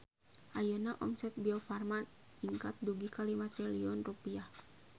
Ayeuna omset Biofarma ningkat dugi ka 5 triliun rupiah